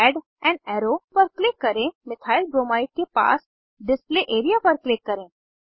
add an arrow पर click करें methyl bromide के पास डिस्प्ले एरिया पर क्लिक करें